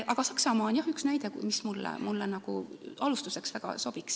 Aga Saksamaa on jah üks näide, mis minu meelest alustuseks väga sobiks.